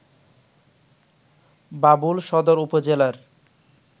বাবুল সদর উপজেলার